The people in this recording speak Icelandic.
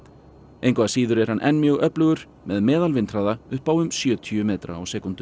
engu að síður er hann enn mjög öflugur með upp á um sjötíu metra á sekúndu